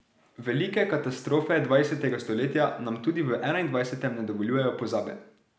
Velike katastrofe dvajsetega stoletja nam tudi v enaindvajsetem ne dovoljujejo pozabe.